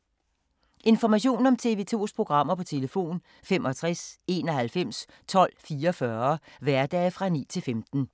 Information om TV 2's programmer: 65 91 12 44, hverdage 9-15.